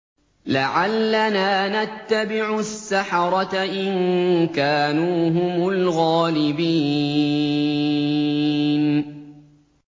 لَعَلَّنَا نَتَّبِعُ السَّحَرَةَ إِن كَانُوا هُمُ الْغَالِبِينَ